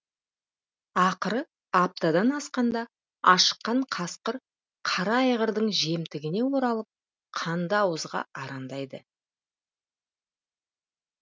ақыры аптадан асқанда ашыққан қасқыр қара айғырдың жемтігіне оралып қанды ауызға арандайды